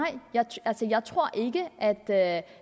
jeg tror ikke at at